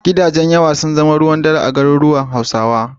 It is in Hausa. Gidajen yawa sun zama ruwan dare a garuruwan Hausawa.